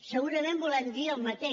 segurament volem dir el mateix